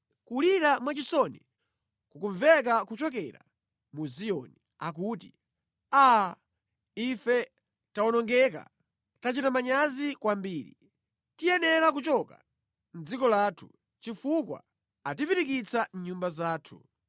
Kulira mwachisoni kukumveka kuchokera mu Ziyoni akuti, ‘Aa! Ife tawonongeka! Tachita manyazi kwambiri! Tiyenera kuchoka mʼdziko lathu chifukwa atipirikitsa mʼnyumba zathu.’ ”